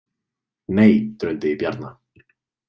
Nei, drundi í Bjarna.